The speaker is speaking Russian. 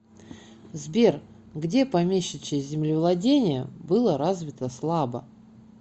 сбер где помещичье землевладение было развито слабо